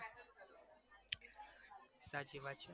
સાચી વાત છે